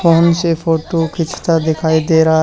phone से photo खींचता दिखाई दे रहा--